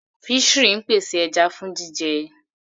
Fishery ń pèsè ẹja fún jíjẹ.